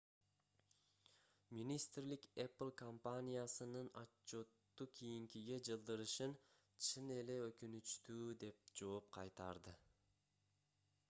министрлик apple компаниясынын отчётту кийинкиге жылдырышын чын эле өкүнүчтүү деп жооп кайтарды